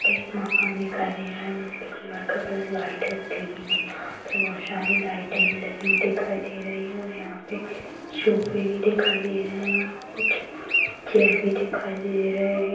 एक माँ दिखाई दे रहा है जिसकी दीवाल का कलर वाईट है ग्रीन है बहोत सारी लाइट ऐ भी लगी हुई दिखाई दे रही हैं और यहाँ पे सोफे भी दिखाई दे रहे हैं और कुछ चेयर भी दिखाई दे रहे हैं।